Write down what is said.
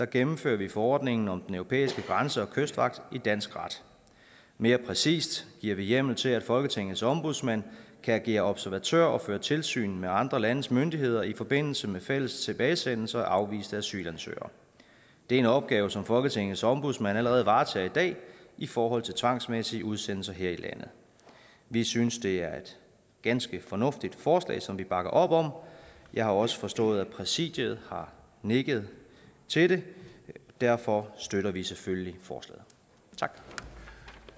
gennemfører vi forordningen om den europæiske grænse og kystvagt i dansk ret mere præcist giver vi hjemmel til at folketingets ombudsmand kan agere observatør og føre tilsyn med andre landes myndigheder i forbindelse med fælles tilbagesendelse af afviste asylansøgere det er en opgave som folketingets ombudsmand allerede varetager i dag i forhold til tvangsmæssige udsendelser her i landet vi synes det er et ganske fornuftigt forslag som vi bakker op om jeg har også forstået at præsidiet har nikket til det derfor støtter vi selvfølgelig forslaget